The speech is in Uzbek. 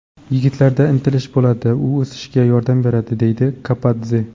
Yigitlarda intilish bo‘ladi, bu o‘sishga yordam beradi”, deydi Kapadze.